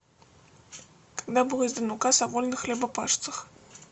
когда был издан указ о вольных хлебопашцах